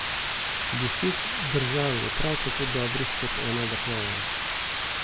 Deset držav je prav tako dobrih kot ena država.